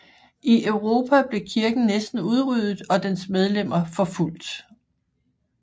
I Europa blev kirken næsten udryddet og dens medlemmer forfulgt